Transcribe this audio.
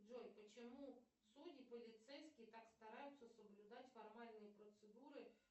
джой почему судьи полицейские так стараются соблюдать формальные процедуры